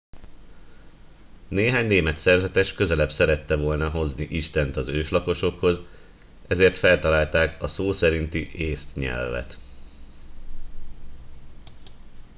néhány német szerzetes közelebb szerette volna hozni istent az őslakosokhoz ezért feltalálták a szó szerinti észt nyelvet